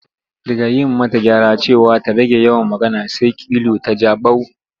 Daga yi mata gyara cewa ta rage yawan magana, sai kilu ta ja bau.